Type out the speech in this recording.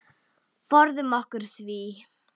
Forðum okkur því.